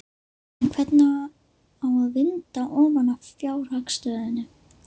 En hvernig á að vinda ofan af fjárhagsstöðunni?